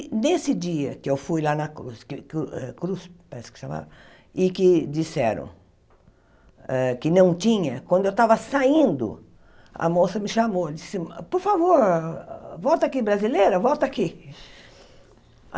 Nesse dia que eu fui lá na Cruz, que eh Cruz parece que chamava que disseram ah que não tinha, quando eu estava saindo, a moça me chamou e disse, por favor, volta aqui brasileira, volta aqui.